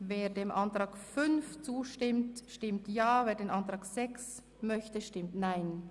Wer den Ordnungsantrag 4 des Büros annimmt, stimmt Ja, wer diesen ablehnt, stimmt Nein.